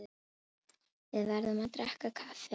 Við verðum að drekka kaffi áður.